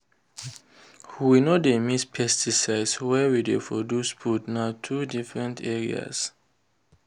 we no dey mix pesticide where we dey produce food—na two different areas.